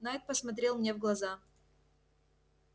найд посмотрел мне в глаза